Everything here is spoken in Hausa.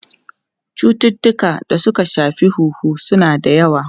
Cututtukan da suka shafi huhu suna da yawa.